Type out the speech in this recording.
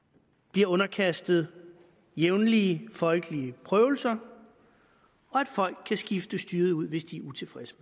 bliver underkastet jævnlige folkelige prøvelser og at folk kan skifte styret ud hvis de er utilfredse